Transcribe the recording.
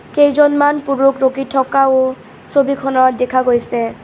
কেইজনমান পুৰুষ ৰখি থকাও ছবিখনত দেখা গৈছে।